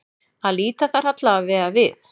Að líta þar allavega við.